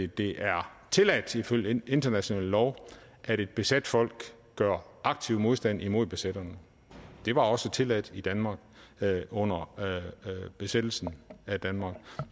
det er tilladt ifølge international lov at et besat folk gør aktiv modstand imod besætterne det var også tilladt i danmark under besættelsen af danmark